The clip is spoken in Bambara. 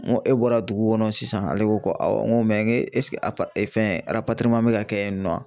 N ko e bɔra dugu kɔnɔ sisan ale ko ko awɔ n ko mɛ ɛseke fɛn bɛ ka kɛ yen nɔ ?